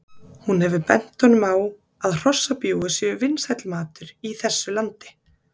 Hún hefur bent honum á að hrossabjúgu séu vinsæll matur í þessu landi